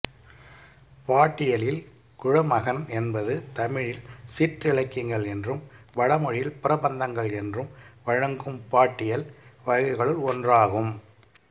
பாட்டியலில் குழமகன் என்பது தமிழில் சிற்றிலக்கியங்கள் என்றும் வடமொழியில் பிரபந்தங்கள் என்றும் வழங்கும் பாட்டியல் வகைகளுள் ஒன்றாகும்